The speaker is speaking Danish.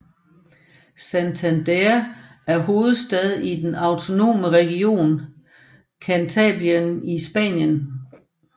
Santander er hovedstad i den autonome region Cantabrien i Spanien